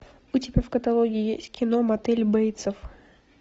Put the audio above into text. у тебя в каталоге есть кино мотель бейтсов